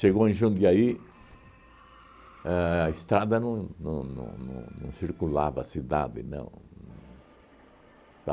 em Jundiaí, a estrada não não não não não circulava a cidade, não.